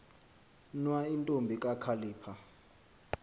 nwa intombi kakhalipha